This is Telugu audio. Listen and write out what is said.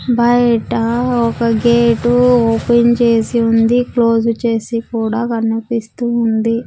బయట ఒక గేట్ ఓపెన్ చేసి ఉంది క్లోజ్ చేసి కూడా కనిపిస్తూ ఉంది.